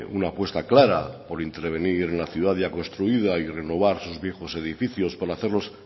una apuesta clara por intervenir la ciudad ya construida y renovar sus viejos edificios para hacerlos